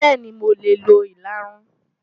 Bẹ́ẹ̀ni, mo lè lo ìlarun.